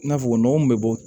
I n'a fɔ nɔgɔ min bɛ bɔ